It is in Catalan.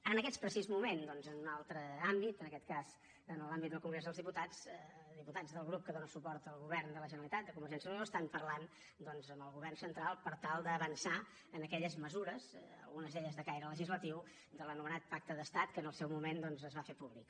en aquest precís moment doncs en un altre àmbit en aquest cas en l’àmbit del congrés dels diputats diputats del grup que dóna suport al govern de la generalitat de convergència i unió estan parlant amb el govern central per tal d’avançar en aquelles mesures algunes d’elles de caire legislatiu de l’anomenat pacte d’estat que en el seu moment es va fer públic